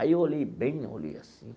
Aí eu olhei bem, olhei assim.